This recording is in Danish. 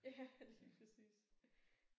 Ja lige præcis